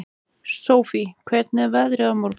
Sofie, hvernig er veðrið á morgun?